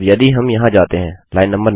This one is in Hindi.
अब यदि हम यहाँ जाते हैं line नो